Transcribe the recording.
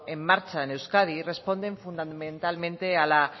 en marcha en euskadi responden fundamentalmente a la